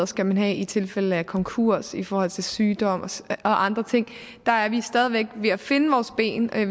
skal have i tilfælde af konkurs i forhold til sygdom og andre ting der er vi stadig væk ved at finde vores ben jeg